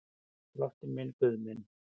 Drottinn minn og Guð minn.